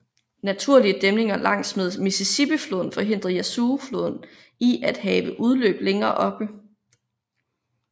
Naturlige dæmninger langs med Mississippi floden forhindrer Yazoo floden i at have udløb længere oppe